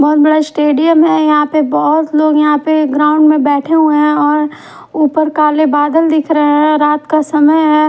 बहुत बडा स्टेडियम हैं यहां पे बहुत लोग यहाँ पे ग्राउंड बैठे हुए हैं और ऊपर काले बादल दिख रहे हैं रात का समय हैं।